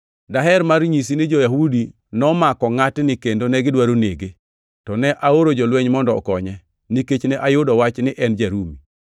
Daher mar nyisi ni jo-Yahudi nomako ngʼatni kendo negidwaro nege, to ne aoro jolweny mondo okonye, nikech ne ayudo wach ni en ja-Rumi.